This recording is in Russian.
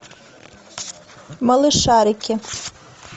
малышарики